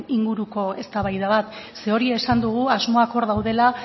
inguruko eztabaida bat ze hori esan dugu asmoak hor daudela